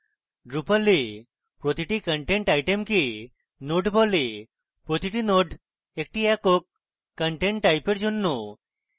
drupal a প্রতিটি content item node বলে প্রতিটি node একটি একক content টাইপের জন্য